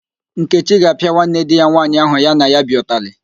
Nkechi ga-apịa nwanne di ya nwaanyị ahụ ya na ya bi ụtalị